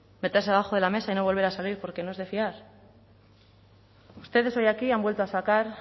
meterse debajo de la mesa y no volver a salir porque no es de fiar ustedes hoy aquí han vuelto a sacar